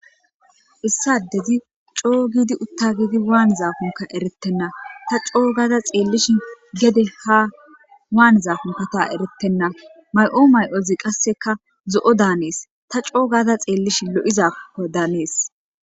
issadedi coo giidi utta giidi waan zaafunka erettenna ta coo gaada xeellish gede ha waan zaafunkata erettenna may7o may7ozi qasseka zo7o daanees ta coo gaada xeellishi lo7izakko daanees